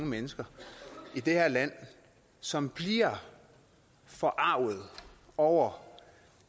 mennesker i det her land som bliver forarget over